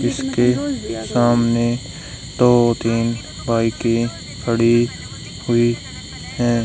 इसके सामने दो तीन बाइके खड़ी हुई है।